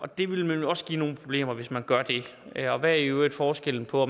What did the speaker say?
det vil også give nogle problemer hvis man gør det og hvad er i øvrigt forskellen på